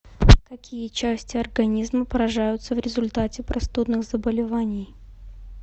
какие части организма поражаются в результате простудных заболеваний